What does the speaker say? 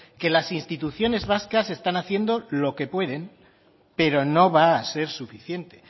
que las instituciones vascas están haciendo lo que pueden pero no va a ser suficiente